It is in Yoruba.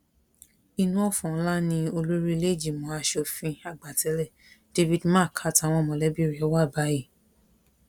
inú ọ̀fọ̀ ńlá ni olórí ìlẹẹjìmọ aṣòfin àgbà tẹlé david mark àtàwọn mọlẹbí rẹ wà báyìí